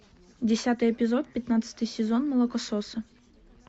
десятый эпизод пятнадцатый сезон молокососы